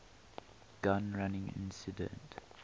gun running incident